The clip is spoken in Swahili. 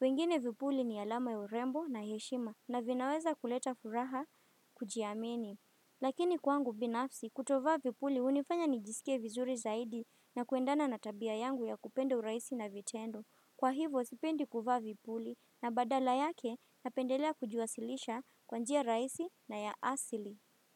wengine vipuli ni alama ya urembo na heshima na vinaweza kuleta furaha kujiamini. Lakini kwangu binafsi kutovaa vipuli unifanya nijisike vizuri zaidi na kuendana natabia yangu ya kupenda urahisi na vitendo. Kwa hivo sipendi kuvaa vipuli na badala yake napendelea kujiwasilisha kwanjia rahisi na ya asili.